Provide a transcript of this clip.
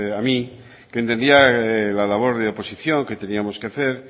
a mí que entendía la labor de oposición que teníamos que hacer